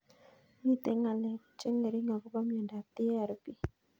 Mito ng'alek che ng'ering' akopo miondop TARP